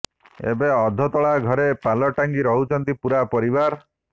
ଏବେ ଅଧାତୋଳା ଘରେ ପାଲ ଟାଙ୍ଗି ରହୁଛନ୍ତି ପୁରା ପରିବାର